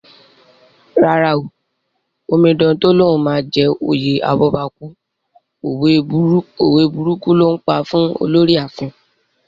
Rárá o, Omidan tó lóun máa jẹ oyè abọ́bakú, òwe burúkù ló ńpa fún Olorì láàfin